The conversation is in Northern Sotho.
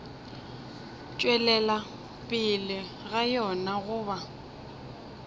tšwelela pele ga yona goba